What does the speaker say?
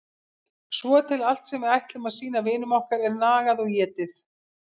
Svo til allt sem við ætlum að sýna vinum okkar er nagað og étið.